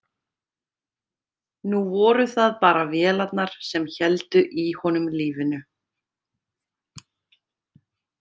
Nú voru það bara vélarnar sem héldu í honum lífinu.